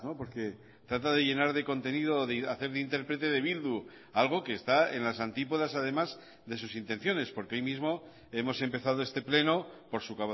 porque trata de llenar de contenido de hacer de interprete de bildu algo que está en las antípodas además de sus intenciones porque hoy mismo hemos empezado este pleno por su